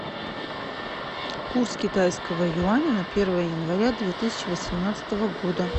курс китайского юаня на первое января две тысячи восемнадцатого года